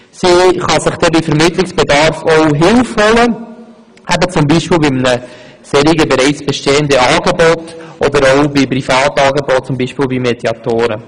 Sie kann sich bei Vermittlungsbedarf auch Hilfe holen, bei einem Angebot auf dieser Liste oder auch bei privaten Anbietern wie beispielsweise Mediatoren.